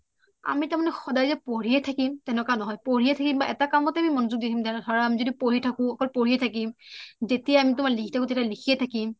আমি তাৰ মানে যে সদাই পঢ়িয়ে থাকিম তেনেকুৱা নহয় পঢ়িয়ে থাকিম বা এটা কামতয়ে আমি মনোযোগ দি থাকিম তেনেকুৱা নহয় ধৰা আমি যদি পঢ়ি থাকোঁ অকল পঢ়িয়ে থাকিম যেতিয়া আমি লিখি থাকো লিখিয়ে থাকিম